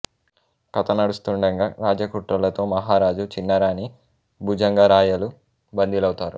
కథ నడుస్తుండగా రాజ్య కుట్రలతో మహారాజు చిన్నరాణి భుజంగరాయలు బందీలవుతారు